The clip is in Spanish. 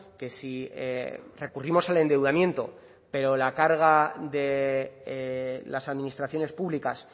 que si recurrimos al endeudamiento pero la carga de las administraciones públicas